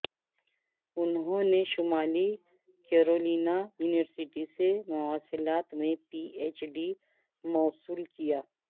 انہوں نے شمالی کیرولینا یونیورسٹی سے مواصلات میں پی ایچ ڈی موصول کیا